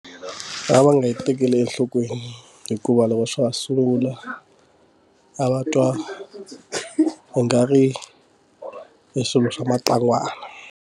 A va nga yi tekeli enhlokweni hikuva loko swa ha sungula a va twa nga ri hi swilo swa matlangwana.